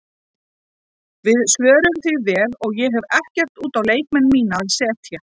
Við svöruðum því vel og ég hef ekkert út á leikmenn mína að setja.